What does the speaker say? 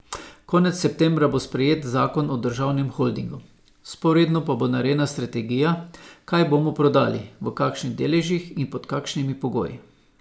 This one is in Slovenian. Konec septembra bo sprejet zakon o državnem holdingu, vzporedno pa bo narejena strategija, kaj bomo prodali, v kakšnih deležih in pod kakšnimi pogoji.